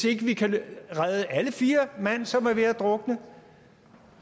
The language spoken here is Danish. ikke kan redde alle de fire mand som er ved at drukne